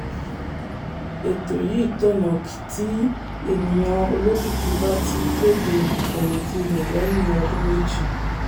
ètò yìí tọ̀nà tí ènìyàn olókìkí bá ti kéde ìfẹ̀yìntì rẹ̀ lẹ́yìn ọdún méjì.